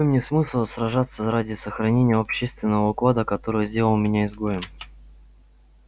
какой мне смысл сражаться ради сохранения общественного уклада который сделал меня изгоем